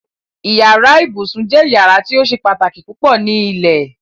Ìyàrá ìbùṣún jẹ́ ìyàrá tí ó ṣè pátákí púpọ̀ ní ilẹ̀.